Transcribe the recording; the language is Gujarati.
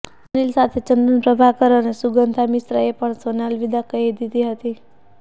સુનિલ સાથે ચંદન પ્રભાકર અને સુગંધા મિશ્રા એ પણ શોને અલવિદા કહી દીધી હતી